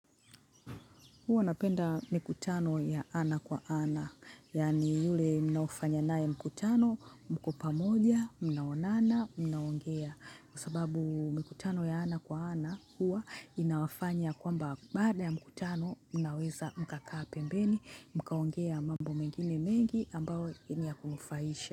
Huwa napenda mikutano ya ana kwa ana. Yani yule mnaofanya nae mkutano mkopamoja, mnaonana, mnaongea. Kwa sababu mkutano ya ana kwa ana huwa inawafanya kwamba baada ya mkutano mnaweza mkakaa pembeni, mkaongea mambo mengine mengi ambao ni ya kunufaisha.